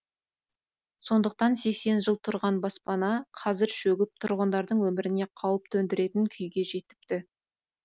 сондықтан сексен жыл тұрған баспана қазір шөгіп тұрғындардың өміріне қауіп төндіретін күйге жетіпті